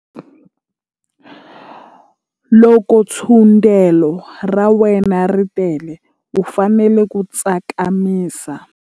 Loko thundelo ra wena ri tele u fanele ku tsakamisa.